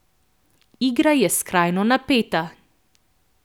Igra je skrajno napeta.